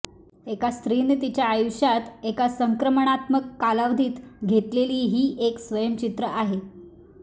एका स्त्रीने तिच्या आयुष्यात एका संक्रमणात्मक कालावधीत घेतलेली ही एक स्वयंचित्र आहे